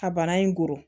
Ka bana in koo